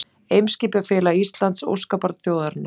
Eimskipafélag Íslands, óskabarn þjóðarinnar